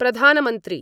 प्रधानमंत्री